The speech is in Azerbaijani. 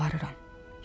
Yalvarıram.